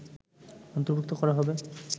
অন্তর্ভুক্ত করা হবে